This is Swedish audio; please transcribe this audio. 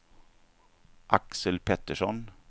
Axel Pettersson